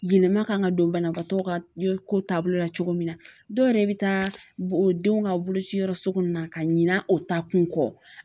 Yɛlɛman kan ka don banabaatɔ ka ye ko taabolo la cogo min na, dɔw yɛrɛ be taa o denw ka boloci yɔrɔ so kɔnɔna na ka ɲina o taa kun kɔ